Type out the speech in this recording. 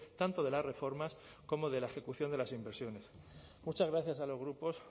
tanto de las reformas como de la ejecución de las inversiones muchas gracias a los grupos